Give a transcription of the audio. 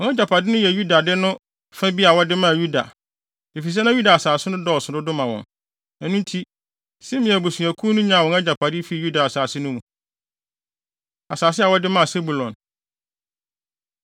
Wɔn agyapade no yɛ Yuda de no fa bi a wɔde maa Yuda, efisɛ na Yuda asase no so dodo ma wɔn. Ɛno nti, Simeon abusuakuw no nyaa wɔn agyapade fii Yuda asase no mu. Asase A Wɔde Maa Sebulon